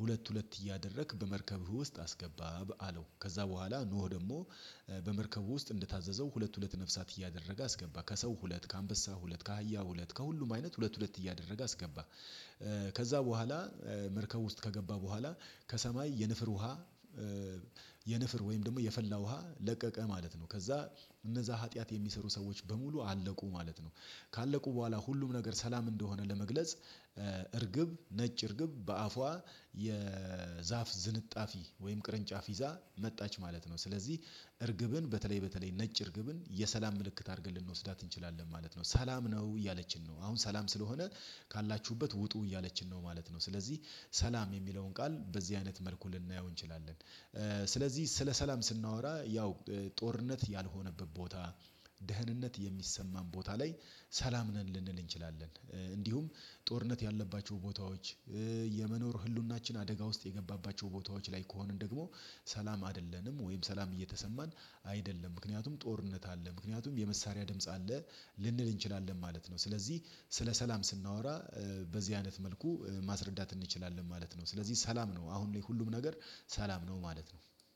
ሁለት ሁለት እያደረክ በመርከብህ ውስጥ አስገባ በአለው ከዛ በኋላ ኖህ ደግሞ በመርከቡ ውስጥ እንደታዘዘው ሁለት ሁለት ነፍሳት እያደረገ አስገባ ከሰው ሁለት ከአንበሳ ሁለት ከሃያ ሁለት ከሁሉም አይነት ሁለት ሁለት እያደረገ አስገባ ከዛ በኋላ መርከብ ውስጥ ከገባ በኋላ ከሰማይ የንፍር ውሃ የንፍር ወይም ደግሞ የፈላ ውሃ ለቀቀ ማለት ነው። ከዛ እነዛ ኃጢአት የሚሰሩ ሰዎች በሙሉ አለቁ ማለት ነው ካለቁ በኋላ ሁሉም ነገር ሰላም እንደሆነ ለመግለጽ እርግብ ነጭ እርግብ በአፏ የዛፍ ዝንጣፊ ወይም ቅርንጫፍ ይዛ መጣች ማለት ነው ስለዚህ እርግብን በተለይ በተለይ ነጭ እርግብን የሰላም ምልክት አድርገን ልንወስዳት እንችላለን ማለት ነው ሰላም ነው እያለችን ነው አሁን ሰላም ስለሆነ ካላችሁበት ውጡ እያለችን ነው ማለት ነው። ስለዚህ ሰላም የሚለውን ቃል በዚህ አይነት መልኩ ልናየው እንችላለን። ስለዚህ ስለ ሰላም ስናወራ ያው ጦርነት ያልሆነበት ቦታ ደህንነት የሚሰማን ቦታ ላይ ሰላም ነን ልንል እንችላለን እንዲሁም ጦርነት ያለባቸው ቦታዎች የመኖር ህልውናችን አደጋ ውስጥ የገባባቸው ቦታዎች ላይ ከሆንን ደግሞ ሰላም አይደለንም ወይም ሰላም እየተሰማን አይደለም ምክንያቱም ጦርነት አለ ምክንያቱም የመሳሪያ ድምጽ አለ ልንል እንችላለን ማለት ነው። ስለዚህ ስለ ሰላም ስናወራ በዚህ አይነት መልኩ ማስረዳት እንችላለን ማለት ነው። ስለዚህ ሰላም ነው አሁን ላይ ሁሉም ነገር ሰላም ነው ማለት ነው።